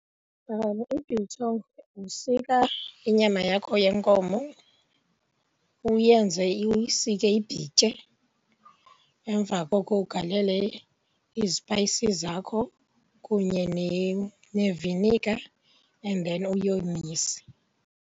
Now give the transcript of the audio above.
I-biltong, usika inyama yakho yenkomo uyenze , uyisike ibhitye emva koko ugalele izipayisi zakho kunye neviniga and then uyomise.